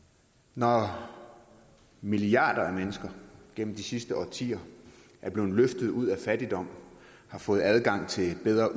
når milliarder af mennesker gennem de sidste årtier er blevet løftet ud af fattigdom har fået adgang til bedre